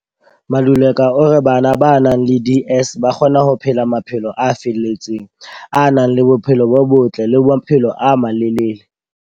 Maluleka o re bana ba nang le DS ba kgona ho phela maphelo a felletseng, a nang le bophelo bo botle le maphelo a malelele.